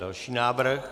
Další návrh.